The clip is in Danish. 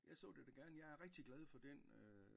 Jeg så det da gerne jeg er rigtig glad for den øh